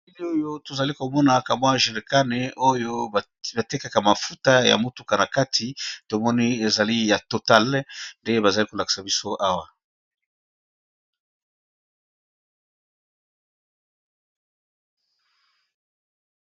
Elili oyo to zali ko monaka mwa jerekane oyo ba tekaka mafuta ya motuka na kati to moni ezali ya total nde ba zali ko lakisa biso awa .